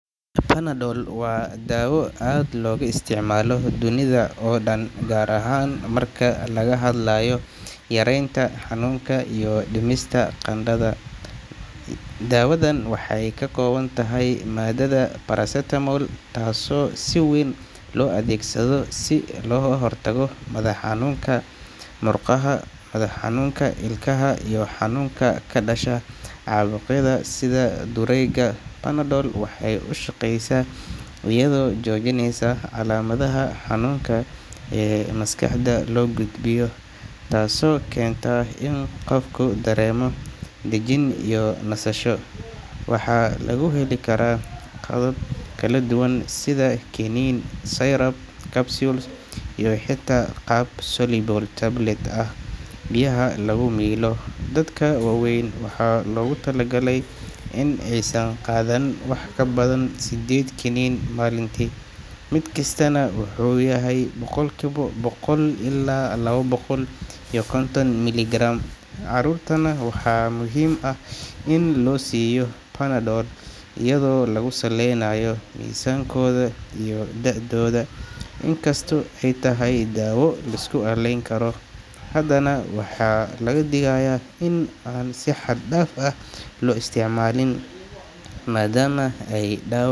Panadol waa dawo aad looga isticmaalo dunida oo dhan, gaar ahaan marka laga hadlayo yareynta xanuunka iyo dhimista qandhada. Daawadan waxay ka kooban tahay maaddada paracetamol, taasoo si weyn loo adeegsado si looga hortago madax xanuunka, xanuunka murqaha, xanuunka ilkaha, iyo xanuunka ka dhasha caabuqyada sida durayga. Panadol waxay u shaqeysaa iyadoo joojinaysa calaamadaha xanuunka ee maskaxda loo gudbiyo, taasoo keenta in qofku dareemo dejin iyo nasasho. Waxaa lagu heli karaa qaabab kala duwan sida kiniin, syrup, capsule, iyo xitaa qaab soluble tablet ah oo biyaha lagu milo. Dadka waaweyn waxaa loogu talagalay in aysan qaadan wax ka badan sideed kiniin maalintii, mid kastana uu yahay boqolkiiba boqol ilaa laba boqol iyo konton milligram. Carruurtana waxaa muhiim ah in loo siiyo Panadol iyadoo lagu saleynayo miisaankooda iyo da’dooda. Inkastoo ay tahay dawo la isku halleyn karo, haddana waxaa laga digayaa in aan si xad-dhaaf ah loo isticmaalin, maadaama ay,